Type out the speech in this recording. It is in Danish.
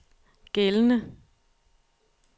gældende